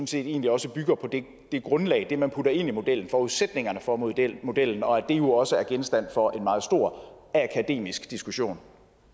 set egentlig også bygger på det grundlag altså det man putter ind i modellen forudsætningerne for modellen modellen og at det jo også er genstand for en meget stor akademisk diskussion